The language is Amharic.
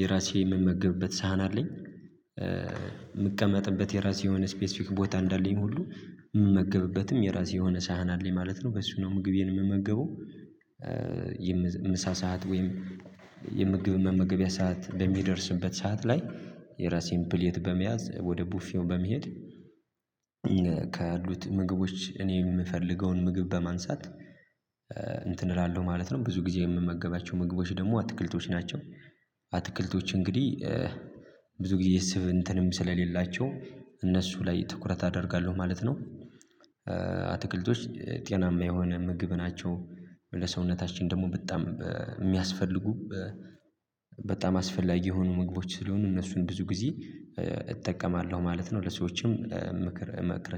የራሴ የምመገብበት ሳህን አለኝ። የምቀመጥበት የራሴ የሆነ ስፔሲፊክ ቦታ እንዳለኝ ሁሉ የምመገብበትም የራሴ የሆነ ሳህን አለኝ ማለት ነው በሱ ነው ምግቤን የምመገበው። የምሳ ሰዓት ወይም የምግብ መመገቢያ ሰዓት በሚደርስበት ሰዓት ላይ የራሴን ፕሌት በመያዝ ወደ ቡፊው በመሄድ። ምግቦች እኔ የምፈልገውን ምግብ በማንሳት እንትን እላለሁ ማለት ነው። ብዙ ጊዜ የምመገባቸው ምግቦች ደግሞ አትክልቶች ናቸው። አትክልቶች እንግዲህ ብዙ ጊዜ የስብ እንትንም ስለሌላቸው እነሱ ላይ ትኩረት አደርጋለሁ ማለት ነው። አትክልቶች ጤናማ የሆነ ምግብ ናቸው። ለሰውነታችን ደግሞ በጣም የሚያስፈልጉ በጣም አስፈላጊ የሆኑ ምግቦች ስለሆኑ እነሱን ብዙ ጊዜ እጠቀማለሁ ማለት ነው። ለሰዎችም ምክር መቅረት